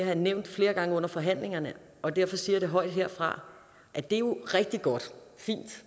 jeg nævnt flere gange under forhandlingerne og derfor siger jeg det højt herfra at det jo er rigtig godt fint